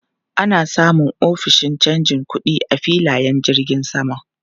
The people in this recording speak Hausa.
Ana samun ofishin canja kuɗi a filayen jirgin sama.